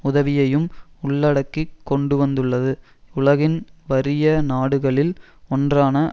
உதவியையும் உள்ளடக்கி கொண்டு வந்துள்ளது உலகின் வறிய நாடுகளில் ஒன்றான